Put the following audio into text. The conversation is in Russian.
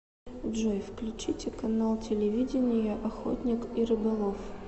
джой включите канал телевидения охотник и рыболов